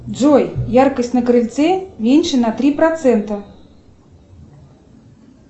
джой яркость на крыльце меньше на три процента